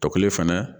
Tɔkelen fɛnɛ